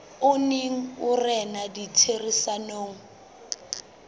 o neng o rena ditherisanong